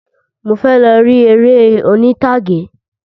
Mo fẹ lọ ri eré oní'tàgé.